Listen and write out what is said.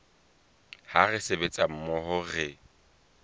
ha re sebetsa mmoho re